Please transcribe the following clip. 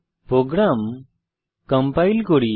programme compile করি